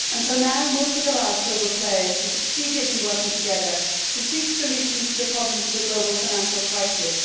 Until now, most of the large global players have succeeded in working together to seek solutions to the problems of the global financial crisis.